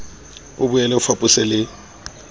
o boele o fapose le